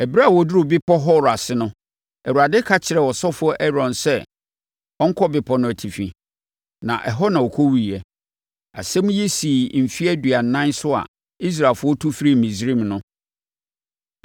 Ɛberɛ a wɔduruu Bepɔ Hor ase no, Awurade ka kyerɛɛ ɔsɔfoɔ Aaron sɛ ɔnkɔ bepɔ no atifi, na ɛhɔ na ɔkɔwuiɛ. Asɛm yi sii mfeɛ aduanan so a Israelfoɔ tu firii Misraim no.